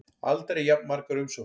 Aldrei jafn margar umsóknir